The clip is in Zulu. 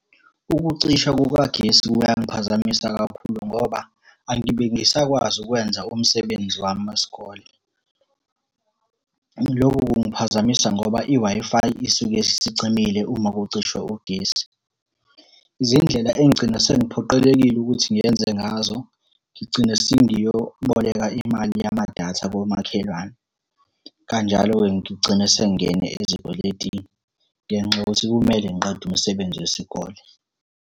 Ukucisha kukagesi kuyangiphazamisa kakhulu ngoba, angibe ngisakwazi ukwenza umsebenzi wami wesikole. Loku kungiphazamisa ngoba i-Wi-Fi isuke isicimile uma kucishwa ugesi. Izindlela engigcina sengiphoqelekile ukuthi ngenze ngazo, ngigcine sengiyoboleka imali yamadatha komakhelwane. Kanjalo-ke ngigcine sengingena ezikweletini, ngenxa yokuthi kumele ngiqale umsebenzi wesikole.